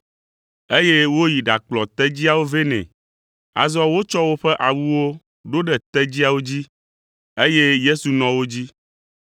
eye woyi ɖakplɔ tedziawo vɛ nɛ. Azɔ wotsɔ woƒe awuwo ɖo ɖe tedziawo dzi, eye Yesu nɔ wo dzi.